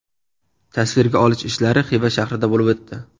Tasvirga olish ishlari Xiva shahrida bo‘lib o‘tdi.